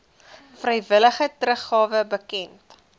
vrywillige teruggawe bekend